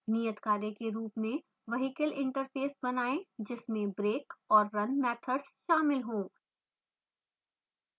नियतकार्य के रूप में vehicle interface बनाएँ जिसमें brake और run मैथड्स शामिल हो